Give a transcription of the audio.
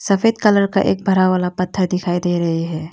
सफेद कलर का एक बड़ा वाला पत्थर दिखाई दे रही है।